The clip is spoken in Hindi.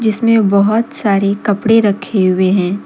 इसमें बहोत सारे कपड़े रखे हुए हैं।